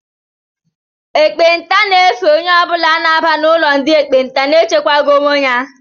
Ekpenta ga-efe onye ọbula na-aba n'ụlọ ndị ekpenta na-echekwaghi onwe ya